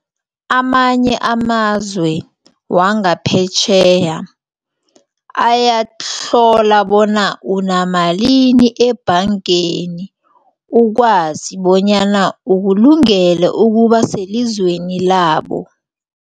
Amanye amazwe wangaphetjheya ayahlola bona namalimini ebhangeni ukwazi bonyana ukulungele ukuba selizweni labo.